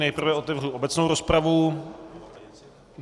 Nejprve otevřu obecnou rozpravu.